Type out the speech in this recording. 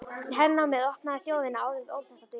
Hernámið opnaði þjóðinni áður óþekktar dyr.